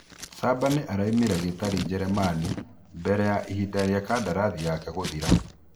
Cabanĩ araumire Gĩtarĩ Jeremani mbere ya ihinda rĩa kandarathi yake gũthira.